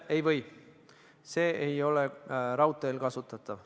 Ei või, see ei ole raudteel kasutatav.